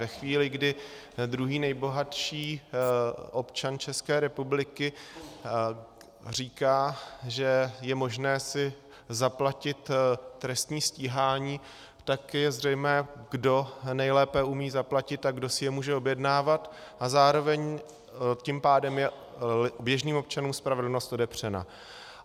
Ve chvíli, kdy druhý nejbohatší občan České republiky říká, že je si možné zaplatit trestní stíhání, tak je zřejmé, kdo nejlépe umí zaplatit a kdo si je může objednávat, a zároveň tím pádem je běžným občanům spravedlnost odepřena.